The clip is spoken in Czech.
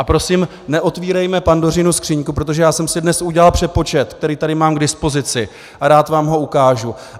A prosím, neotvírejme Pandořinu skříňku, protože já jsem si dnes udělal přepočet, který tady mám k dispozici, a rád vám ho ukážu.